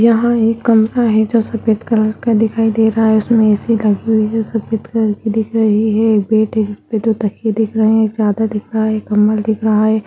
यहाँ एक कमरा है जो सफेद कलर का दिखाई दे रहा है उसमें ए.सी. लगी हुई है जो सफेद कलर की दिख रही है एक बेड है जिसपे दो तकिये दिख रहें हैं एक चादर दिख रहा है एक कम्बल दिख रहा है।